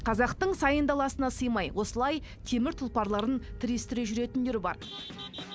қазақтың сайын даласына сыймай осылай темір тұлпарларын тірестіре жүретіндер бар